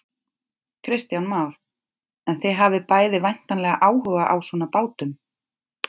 Kristján Már: En þið hafið bæði væntanlega áhuga á svona bátum?